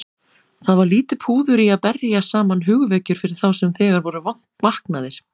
Það var lítið púður í að berja saman hugvekjur fyrir þá sem þegar voru vaknaðir.